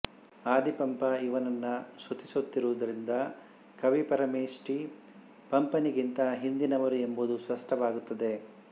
ಆದಿಪಂಪ ಇವನನ್ನು ಸ್ತುತಿಸಿರುವುದರಿಂದ ಕವಿಪರಮೇಷ್ಠಿ ಪಂಪನಿಗಿಂತ ಹಿಂದಿನವರು ಎಂಬುದು ಸ್ಪಷ್ಟವಾಗುತ್ತದೆ